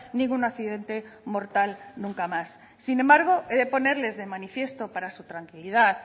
ningún accidente mortal nunca más sin embargo he de ponerles de manifiesto para su tranquilidad